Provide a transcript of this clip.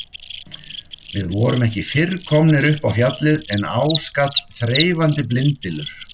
Við vorum ekki fyrr komnir upp á Fjallið en á skall þreifandi blindbylur.